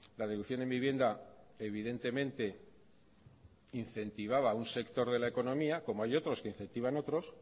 la deducción en vivienda evidentemente incentivaba un sector de la economía como hay otros que incentivan a otros